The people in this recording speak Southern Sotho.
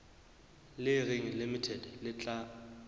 le reng limited le tla